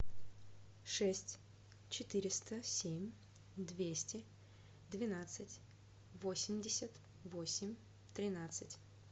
шесть четыреста семь двести двенадцать восемьдесят восемь тринадцать